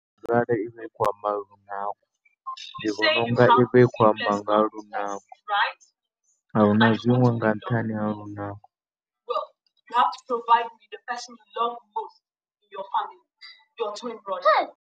Arali i khou amba ndi vhona u nga i vha i khou amba nga ha lunako, a hu na zwiṅwe nga nṱhani ha lunako.